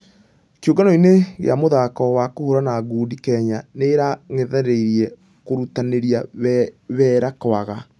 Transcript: ....kĩũngano-inĩ gĩa mũthako wa kũhũrana ngundi kenya nĩ ĩragathĩrĩria kũrutanĩria wera kwega.